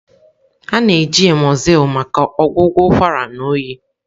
A na-eji Emzoyln maka ọgwụgwọ ụkwara na oyi.